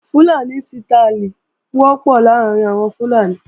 Fúlàní sítááìlì wọ́pọ̀ láàrín àwọn Fúlàní